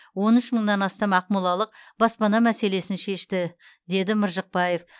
он үш мыңнан астам ақмолалық баспана мәселесін шешті деді мыржықпаев